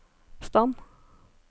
stand